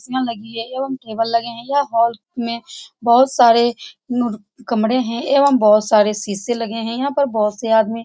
कुर्सियां लगी है एवं टेबल लगे है यह हॉल में बहुत सारे नू कमरे है एवं बहुत सारे सीसे लगे है यहाँ पर बहुत से आदमी--